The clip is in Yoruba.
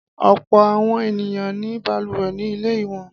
Ọ̀pọ̀ àwọn ènìyàn ní balùwẹ̀ ní ilé wọn.